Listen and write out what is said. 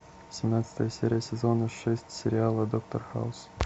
семнадцатая серия сезона шесть сериала доктор хаус